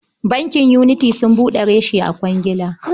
Bankin Unity sun buɗe reshe a Kwagila.